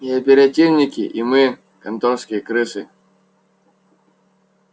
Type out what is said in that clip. и оперативники и мы конторские крысы